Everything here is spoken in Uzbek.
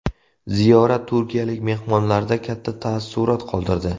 Ziyorat turkiyalik mehmonlarda katta taassurot qoldirdi.